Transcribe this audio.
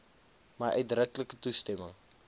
my uitdruklike toestemming